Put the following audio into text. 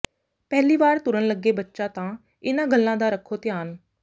ਪਹਿਲੀ ਵਾਰ ਤੁਰਨ ਲੱਗੇ ਬੱਚਾ ਤਾਂ ਇਨ੍ਹਾਂ ਗੱਲਾਂ ਦਾ ਰੱਖੋ ਧਿਆਨ